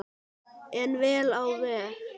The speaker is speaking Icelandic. En vel á veg.